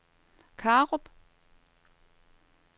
Karup